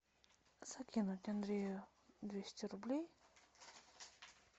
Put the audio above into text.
закинуть андрею двести рублей